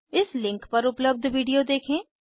इस लिंक पर उपलब्ध विडिओ देखें